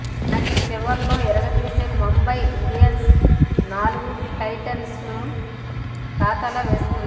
కానీ చివర్లో ఇరగదీసే ముంబై ఇండియన్స్ నాలుగు టైటిల్స్ను ఖాతాలో వేసుకుంది